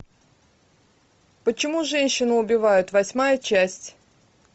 почему женщины убивают восьмая часть